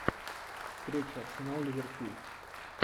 встреча арсенал ливерпуль